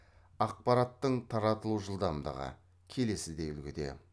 ақпараттың таратылу жылдамдығы келесідей үлгіде